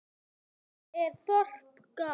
Þetta þorp gaf